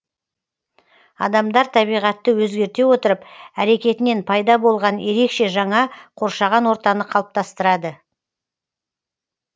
адамдар табиғатты өзгерте отырып әрекетінен пайда болған ерекше жаңа қоршаған ортаны қалыптастырады